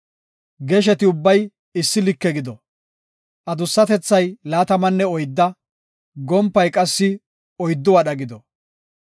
Gesheti ubbay issi like gido; adussatethay laatamanne oydda, gompay qassi oyddu wadha gido.